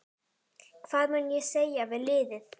Hvað mun ég segja við liðið?